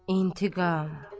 İntiqam.